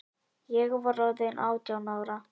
Ég var orðin átján ára.